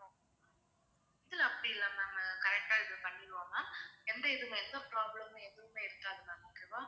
இல்ல அப்படி இல்ல ma'amcorrect ஆ இது பண்ணிருவோம் ma'am எந்த இதுவுமே எந்த problem மே எதுவுமே இருக்காது ma'am உங்களுக்கு